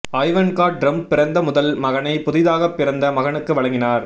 Ivanka Trump பிறந்த முதல் மகனை புதிதாகப் பிறந்த மகனுக்கு வழங்கினார்